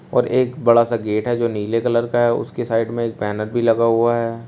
और एक बड़ा सा गेट है जो नीले कलर का है उसके साइड में एक बैनर भी लगा हुआ है।